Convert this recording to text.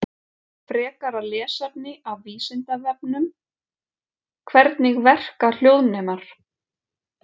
Frekara lesefni af Vísindavefnum: Hvernig verka hljóðnemar?